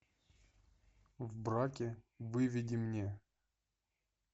в браке выведи мне